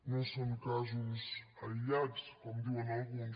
no són casos aïllats com diuen alguns